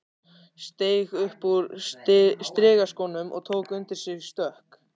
Steig upp úr strigaskónum og tók undir sig stökk.